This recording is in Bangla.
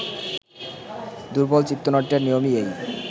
দুর্বল চিত্রনাট্যের নিয়মই এই